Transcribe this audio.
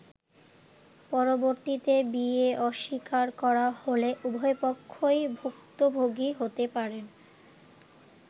পরবর্তীতে বিয়ে অস্বীকার করা হলে উভয়পক্ষই ভূক্তভোগী হতে পারেন।